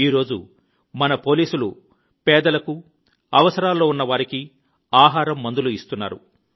ఈ రోజు మన పోలీసులు పేదలకు అవసరాల్లో ఉన్న వారికి ఆహారం మందులు ఇస్తున్నారు